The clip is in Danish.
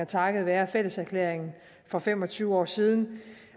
takket være fælleserklæringen for fem og tyve år siden